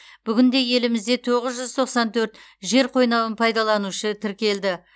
бүгінде елімізде тоғыз жүз тоқсан төрт жер қойнауын пайдаланушы тіркелді